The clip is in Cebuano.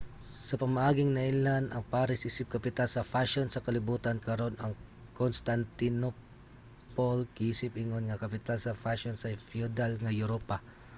sa pamaaging nailhan ang paris isip kapital sa fashion sa kalibutan karon ang constantinople giisip ingon nga kapital sa fashion sa feudal nga europa